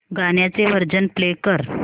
गाण्याचे version play कर